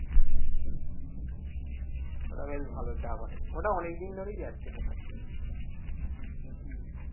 ওটা বেশ ভালো চা করে ওটা অনেকদিন ধরেই আছে ওখানে